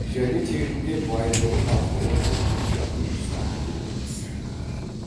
және тегінде баймұрын арқылы бөжей жағын ұстанып келген кісі